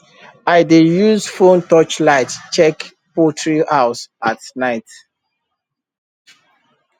i dey use phone touch light check poultry house at night